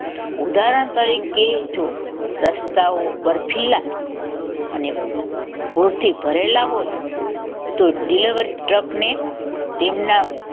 ઉદાહરણ તરીકે જો રસ્તાઓ બરફીલા અને પુરથી ભરેલા હોય તો deliverer ટ્રક ને તેમના